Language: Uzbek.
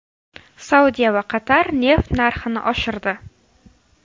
Saudiya va Qatar neft narxini oshirdi.